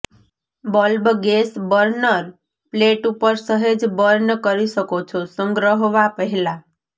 bulb gas burner plate ઉપર સહેજ burn કરી શકો છો સંગ્રહવા પહેલાં